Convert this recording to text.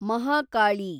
Mahakali